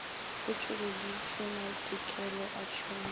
o tšweleditšwe maitekelo a tšhomišo